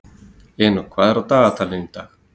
Enok, hvað er á dagatalinu í dag?